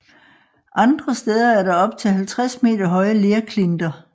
Andre steder er der op til 50 meter høje lerklinter